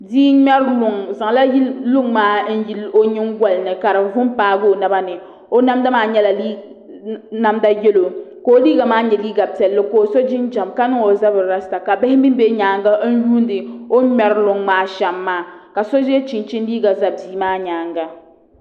Bia n ŋmɛri luŋ o zaŋla luŋ maa yili o nyingoli ni ka di vu n paagi o naba ni o namda maa nyɛla namda yɛlo ka o liiga maa nyɛ liiga piɛlli kw o so jinjɛm ka niŋ o zabiri rasta ka bihi mii bɛ nyaangi n yuundi o ni ŋmɛri luŋ maa shɛm maa ka so yɛ chinchin liiga ʒɛ bia maa nyaanga